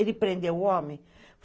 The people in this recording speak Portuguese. Ele prendeu o homem.